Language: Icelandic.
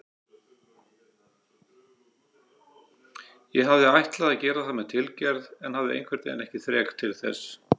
Ég hafði ætlað að gera það með tilgerð en hafði einhvernveginn ekki þrek til þess.